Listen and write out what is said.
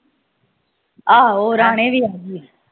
ਆਹੋ ਰਾਣੀ ਵੀ ਆਂਦੀ ਆ